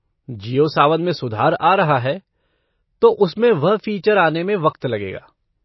जिओ सावन में सुधार आ रहा है, तो उसमें वह फ़ीचर आने में वक्त लगेगा।